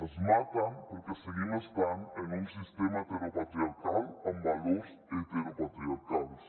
ens maten perquè seguim estant en un sistema heteropatriarcal amb valors heteropatriarcals